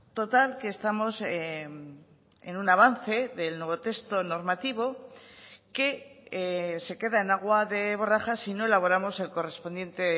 total que estamos en un avance del nuevo texto normativo que se queda en agua de borrajas si no elaboramos el correspondiente